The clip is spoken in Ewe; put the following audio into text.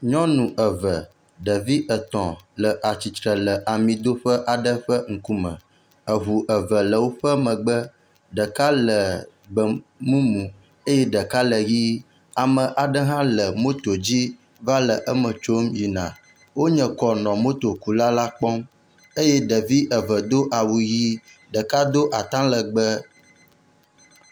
Nyɔnu eve ɖevi etɔ̃ le atsitre le amidoƒe aɖe ƒe ŋkume. Eŋu eve le woƒe megbe. Ɖeka le gbemumu eye ɖeka le ʋie. Ame aɖe hã le motot dzi va le eme tsom yina. Wonye kɔ nɔ motokula la kpɔm eye ɖevi eve do awu ʋi ɖeka do atalegbe.